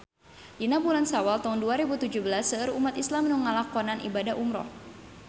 Dina bulan Sawal taun dua rebu tujuh belas seueur umat islam nu ngalakonan ibadah umrah